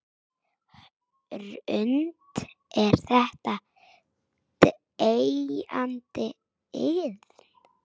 Hrund: Er þetta deyjandi iðn?